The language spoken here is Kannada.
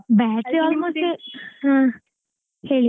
Battery almost ಹ ಹೇಳಿ.